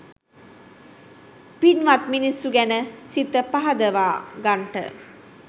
පින්වත් මිනිස්සු ගැන සිත පහදවා ගන්ට.